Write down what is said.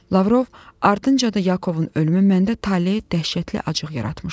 Lavrov, ardınca da Yakovun ölümü məndə taleyə dəhşətli acıq yaratmışdı.